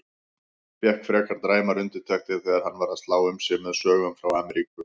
Fékk frekar dræmar undirtektir þegar hann var að slá um sig með sögum frá Ameríku.